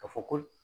Ka fɔ ko